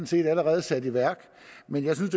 set allerede er sat i værk men jeg synes